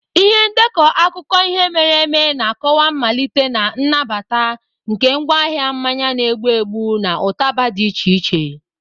Ihe ndekọ akụkọ ihe mere eme na-akọwa mmalite na nnabata nke ngwaahịa mmanya na-egbu egbu na ụtaba dị iche iche.